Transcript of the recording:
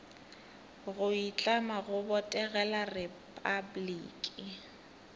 go itlama go botegela repabliki